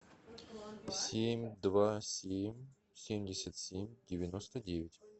семь два семь семьдесят семь девяносто девять